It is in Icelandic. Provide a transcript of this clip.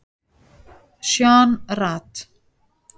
Sean Rad